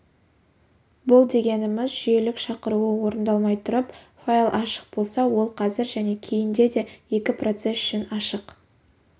бұл дегеніміз жүйелік шақыруы орындалмай тұрып файл ашық болса ол қазір және кейінде де екі процесс үшін ашық